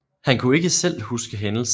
Han kunne ikke selv huske hændelsen